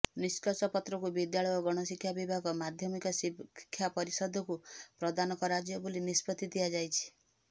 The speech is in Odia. ନିଷ୍କର୍ଷପତ୍ରକୁ ବିଦ୍ୟାଳୟ ଓ ଗଣଶିକ୍ଷା ବିଭାଗ ମାଧ୍ୟମିକ ଶିକ୍ଷା ପରିଷଦକୁ ପ୍ରଦାନ କରାଯିବ ବୋଲି ନିଷ୍ପତ୍ତିି ନିଆଯାଇଛି